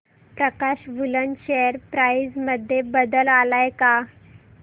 प्रकाश woollen share price मध्ये बदल आलाय का